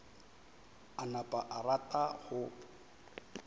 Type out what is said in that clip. a napa a rata go